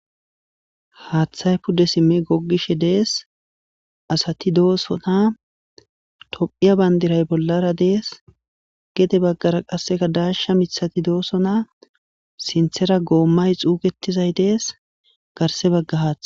haaththay pude simmi gogishe dees asati doosota tophiya bandiray bollara dees gede baggara qasseka daasha mithati dooso na sinthera goommay xuugetizay dees garse baggahaath